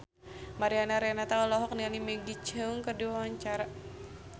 Mariana Renata olohok ningali Maggie Cheung keur diwawancara